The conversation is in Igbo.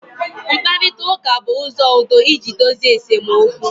mkparita uka bu uzo udo iji dozie esemokwu